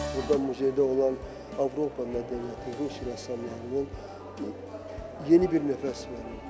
Burada muzeydə olan Avropa mədəniyyəti, Rus rəssamlarının yeni bir nəfəs verilib.